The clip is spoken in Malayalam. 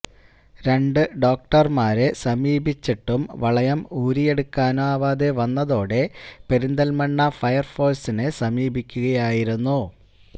രണ്ടു ഡോക്ടർമാരെ സമീപിച്ചിട്ടും വളയം ഊരിയെടുക്കാനാവാതെ വന്നതോടെ പെരിന്തൽമണ്ണ ഫയർഫോഴ്സിനെ സമീപിക്കുകയായിരുന്നു